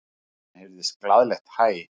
Síðan heyrðist glaðlegt hæ.